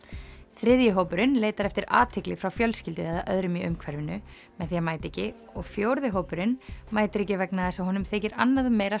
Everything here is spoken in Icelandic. þriðji hópurinn leitar eftir athygli frá fjölskyldu eða öðrum í umhverfinu með því að mæta ekki og fjórði hópurinn mætir ekki vegna þess að honum þykir annað meira